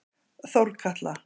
Þórkatla